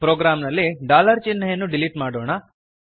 ಪ್ರೋಗ್ರಾಂನಲ್ಲಿ ಚಿಹ್ನೆಯನ್ನು ಡಿಲಿಟ್ ಮಾಡೋಣ